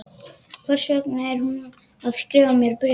Hvers vegna er hún að skrifa mér bréf?